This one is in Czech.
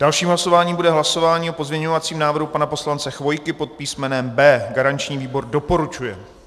Dalším hlasováním bude hlasování o pozměňovacím návrhu pana poslance Chvojky pod písmenem B. Garanční výbor doporučuje.